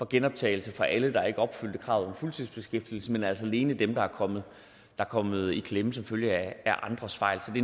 genoptagelse for alle der ikke opfyldte kravet om fuldtidsbeskæftigelse men altså alene dem der er kommet er kommet i klemme som følge af andres fejl